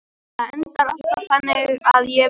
Það endar alltaf þannig að ég vel Ítalíu.